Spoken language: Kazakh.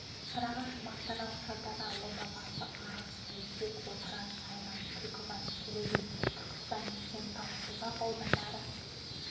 сарыағаш мақтарал шардара ордабасы арыс бәйдібек отырар сайрам түлкібас төле би түркістан кентау созақ аудандары